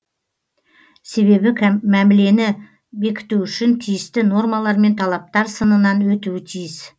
себебі мәмілені бекіту үшін тиісті нормалар мен талаптар сынынан өтуі тиіс